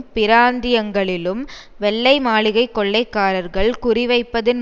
பிராந்தியங்களிலும் வெள்ளை மாளிகை கொள்ளைக்காரர்கள் குறிவைப்பதன்